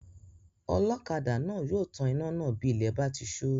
Ọlọ́kadà náà yóò tan iná náà bí ilẹ̀ bá ti sú